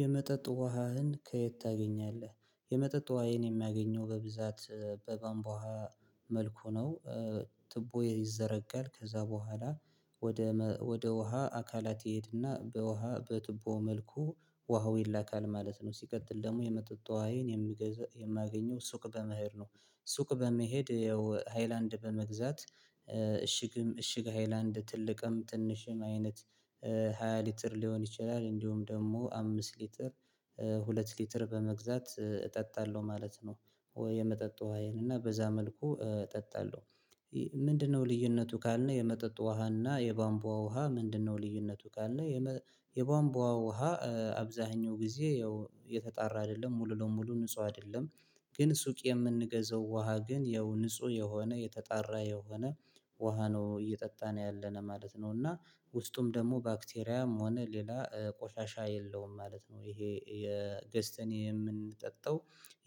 የመጠጥ ውሃህን ከየት ታገኛለህ? የመጠጥ ውሃዬን የሚያገኘው በብዛት በቧንቧ ውሃ መልኩ ነው ትቦ ይዘረጋል ከዛ በኋላ ወደ ወደ ውሃ አካላት ይሄድና በውሃ በትቦ መልኩ ውሃው ይላካል ማለት ነው ሲቀጥል ደግሞ የመጠጥ ውሃዬን የምገዛ የማገኘው ሱቅ በመሄድ ነው። ሱቅ በመሄድ ያው ሃይላንድ በመግዛት እሽግም እሽግ ሃይላንድ ትልቅም ትንሽም አይነት ሃያ ሊትር ሊሆን ይችላል እንዲሁም ደግሞ አምስት ሊትር ሁለት ሊትር በመግዛት እጠጣለሁ ማለት ነው ወይ የመጠጥ ውሃዬን እና በዛ መልኩ እጠጣለሁ ምንድነው ልዩነቱ ካልነው የመጠጥ ውሃና የባንቧ ውሃ ምንድነው ልዩነቱ ካልን የቧንቧ ውሃ አብዛኛው ጊዜ ያው የተጣራ አይደለም ሙሉ ለሙሉ ንጹህ አይደለም ግን ሱቅ የምንገዛው ውሃ ግን ያው ንጹህ የሆነ የተጣራ የሆነ ውሃ ነው እየጠጣን ያለነ ማለት ነው እና ውስጡም ደግሞ ባክቴሪያም ሆነ ሌላ ቆሻሻ የለውም ማለት ነው ይሄ ገዝተን የምንጠጣው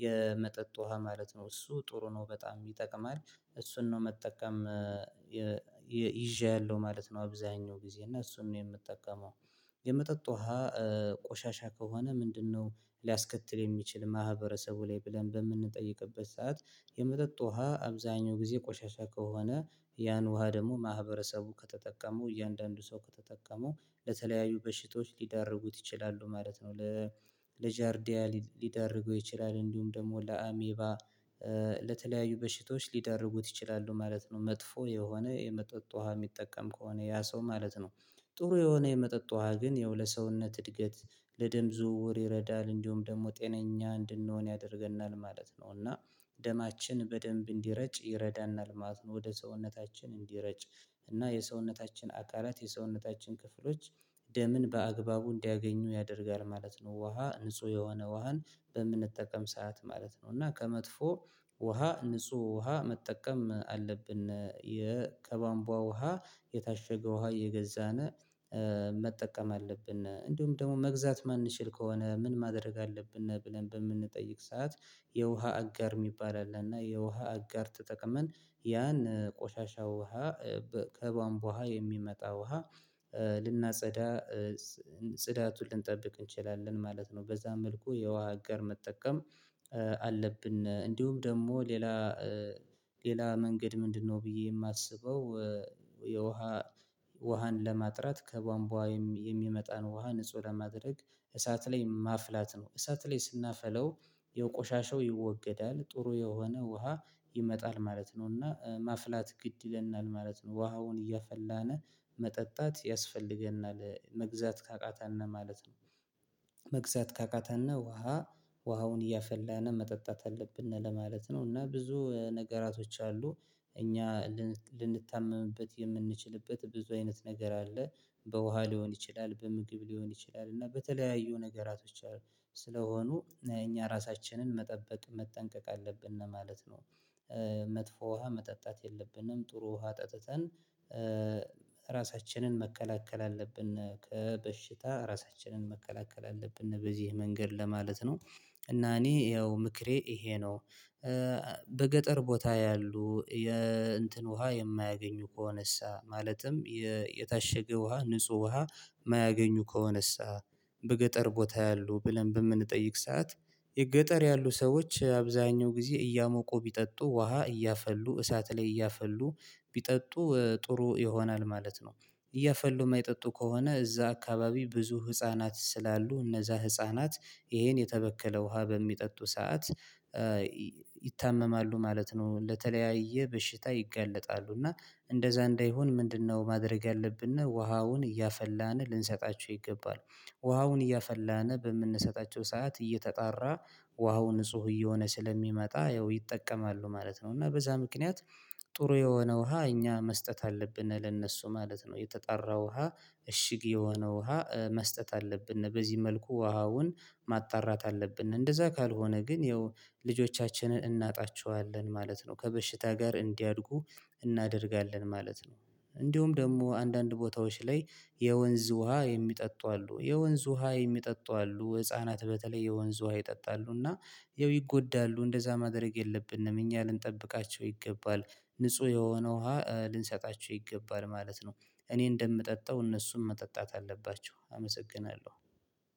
የመጠጥ ውሃ ማለት ነው እሱ ጥሩ ነው በጣም ይጠቅማል እሱን ነው መጠቀም ይጃለው ማለት ነው አብዛኛው ጊዜ እና እሱን ነው የምጠቀመው የመጠጥ ውሃ ቆሻሻ ከሆነ ምንድነው ሊያስከትል የሚችል ማህበረሰቡ ላይ ብለን በምንጠይቅበት ሰዓት የመጠጥ ውሃ አብዛኛው ጊዜ ቆሻሻ ከሆነ ያን ውሃ ደግሞ ማህበረሰቡ ከተጠቀመው እያንዳንዱ ሰው ከተጠቀመው ለተለያዩ በሽቶች ሊዳርጉት ይችላሉ ማለት ነው ለጃርዲያ ሊዳረገው ይችላል እንዲሁም ደግሞ ለአሜባ ለተለያዩ በሽቶች ሊዳርጉት ይችላሉ ማለት ነው መጥፎ የሆነ የመጠጥ ውሃ የሚጠቀም ከሆነ ያ ሰው ማለት ነው። ጥሩ የሆነ የመጠጥ ውሃ ግን ያው ለሰውነት እድገት ለደም ዝውውር ይረዳል እንዲሁም ደግሞ ጤነኛ እንድንሆን ያደርገናል ማለት ነው እና ደማችን በደንብ እንዲረጭ ይረዳናል ማለት ነው ወደ ሰውነታችን እንዲረጭ እና የሰውነታችን አካላት የሰውነታችን ክፍሎች ደምን በአግባቡ እንዲያገኙ ያደርጋል ማለት ነው ውሃ ንጹህ የሆነ ውሃን በምንጠቀም ሰዓት ማለት ነው እና ከመጥፎ ውሃ ንጹህ ውሃ መጠቀም አለብን የ ከቧንቧ ውሃ የታሸገ ውሃ የገዛን መጠቀም አለብን እንዲሁም ደግሞ መግዛት ማንችል ከሆነ ምን ማድረግ አለብን ብለን በምንጠይቅ ሰዓት የውሃ አጋር የሚባል አለ እና የውሃ አጋር ተጠቅመን ያን ቆሻሻ ውሃ ከቧንቧ ውሃ የሚመጣ ውሃ ልናጸዳ ጽዳቱን ልንጠብቅ እንችላለን ማለት ነው። በዛ መልኩ የውሃ አጋር መጠቀም አለብን። እንዲሁም ደግሞ ሌላ ሌላ መንገድ ምንድነው ብዬ የማስበው የውሃ ውሃን ለማጥራት ከቧንቧ የሚመጣን ውሃ ንጹህ ለማድረግ እሳት ላይ ማፍላት ነው እሳት ላይ ስናፈላው የቆሻሻው ይወገዳል ጥሩ የሆነ ውሃ ይመጣል ማለት ነው እና ማፍላት ግድ ይለናል ማለት ነው ውሃውን እያፈላነ መጠጣት ያስፈልገናል መግዛት ካቃተን ማለት ነው። መግዛት ካቃተን ውሃ ውሃውን እያፈላን መጠጣት አለብን ለማለት ነው እና ብዙ ነገራቶች አሉ እኛ ልንታመምበት የምንችልበት ብዙ አይነት ነገር አለ በውሃ ሊሆን ይችላል፣ በምግብ ሊሆን ይችላል እና በተለያዩ ነገራቶች ስለሆኑ እኛ ራሳችንን መጠበቅ መጠንቀቅ አለብን ማለት ነው። መጥፎ ውሃ መጠጣት የለብንም ጥሩ ውሃ ጠጥተን ራሳችንን መከላከል አለብን ከበሽታ ራሳችንን መከላከል አለብን በዚህ መንገድ ለማለት ነው እና እኔ ያው ምክሬ ይሄ ነው በገጠር ቦታ ያሉ የእንትን ውሃ የማያገኙ ከሆነሳ? ማለትም የታሸገ ውሃ ንጹህ ውሃ የማያገኙ ከሆነሳ? በገጠር ቦታ ያሉ ብለን በምንጠይቅ ሰዓት የገጠር ያሉ ሰዎች አብዛኛው ጊዜ እያሞቁ ቢጠጡ ውሃ እያፈሉ እሳት ላይ እያፈሉ ቢጠጡ ጥሩ ይሆናል ማለት ነው እያፈሉ የማይጠጡ ከሆነ እዛ አካባቢ ብዙ ህፃናት ስላሉ እነዛ ህፃናት ይሄን የተበከለ ውሃ በሚጠጡ ሰዓት ይታመማሉ ማለት ነው ለተለያየ በሽታ ይጋለጣሉ እና እንደዛ እንዳይሆን ምንድነው ማድረግ ያለብን ነው ውሃውን እያፈላን ልንሰጣቸው ይገባል ውሃውን እያፈላን በምንሰጣቸው ሰዓት እየተጣራ ውሃው ንጹህ እየሆነ ስለሚመጣ ያው ይጠቀማሉ ማለት ነው እና በዛ ምክንያት ጥሩ የሆነ ውሃ እኛ መስጠት አለብን ለነሱ ማለት ነው የተጣራ ውሃ እሽግ የሆነ ውሃ መስጠት አለብን በዚህ መልኩ ውሃውን ማጣራት አለብን እንደዛ ካልሆነ ግን ያው ልጆቻችንን እናጣቸዋለን ማለት ነው ከበሽታ ጋር እንዲያድጉ እናደርጋለን ማለት ነው። እንዲሁም ደግሞ አንዳንድ ቦታዎች ላይ የወንዝ ውሃ የሚጠጡ አሉ። የወንዝ ውሃ የሚጠጡ አሉ። ህፃናት በተለይ የወንዝ ውሃ ይጠጣሉ እና ያው ይጎዳሉ። እንደዛ ማድረግ የለብንም። እኛ ልንጠብቃቸው ይገባል። ንጹህ የሆነ ውሃ ልንሰጣቸው ይገባል ማለት ነው። እኔ እንደምጠጣው እነሱም መጠጣት አለባቸው። አመሰግናለሁ።